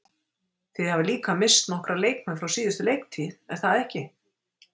Þið hafið líka misst nokkra leikmenn frá síðustu leiktíð er það ekki?